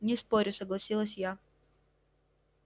не спорю согласилась я